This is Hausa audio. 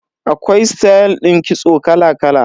Akwai stayal din kitso kala kala.